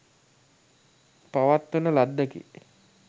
පවත්වන ලද්දකි.